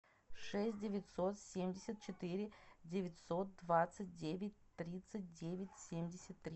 шесть девятьсот семьдесят четыре девятьсот двадцать девять тридцать девять семьдесят три